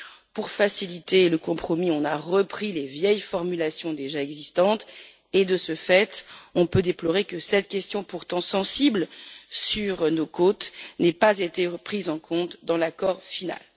Pour faciliter le compromis, on a repris les vieilles formulations déjà existantes et, de ce fait, on peut déplorer que cette question, pourtant sensible sur nos côtes, n'ait pas été prise en compte dans l'accord final.